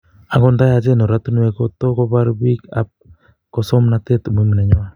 Angot ndayachen oratunwek koto,o kopar piik ap ngosomnatet umuhimu nenywa